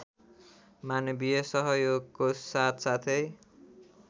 मानवीय सहयोगको साथसाथै